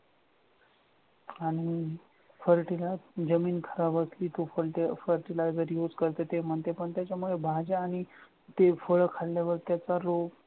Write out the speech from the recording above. आणि पार्टीला जमीन खराब जमीन खराब असले की उकरते fertilizer use करते पण त्याच्यामुळे भाज्या आणि ती फळं खाल्ल्यावर त्याचा रोग